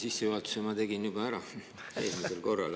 Sissejuhatuse ma tegin juba ära eelmisel korral.